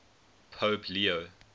pope leo